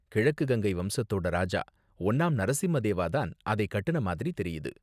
கிழக்கு கங்கை வம்சத்தோட ராஜா ஒன்னாம் நரசிம்மதேவா தான் அதை கட்டுன மாதிரி தெரியுது.